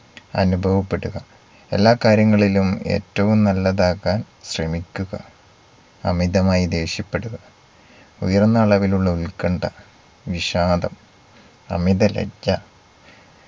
അനുഭവപ്പെടുക. എല്ലാ കാര്യങ്ങളിലും ഏറ്റവും നല്ലതാകാൻ ശ്രമിക്കുക അമിതമായി ദേഷ്യപ്പെടുക ഉയർന്ന അളവിലുള്ള ഉത്കണ്ഠ വിഷാദം അമിത ലജ്ജ